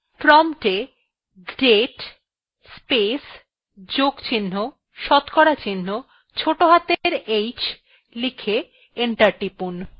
prompt এ date place plus শতকরা চিহ্ন ছোটো হাতের অক্ষরে h লিখে enter টিপুন